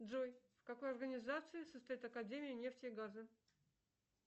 джой в какой организации состоит академия нефти и газа